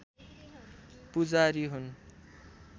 पूजारी हुन्